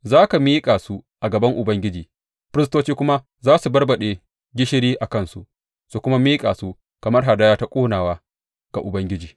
Za ka miƙa su a gaban Ubangiji, firistoci kuma za su barbaɗe gishiri a kansu su kuma miƙa su kamar hadaya ta ƙonawa ga Ubangiji.